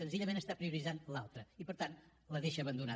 senzillament prioritza l’altra i per tant la deixa abandonada